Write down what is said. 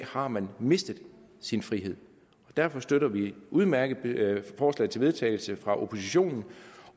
har man mistet sin frihed derfor støtter vi det udmærkede forslag til vedtagelse fra oppositionen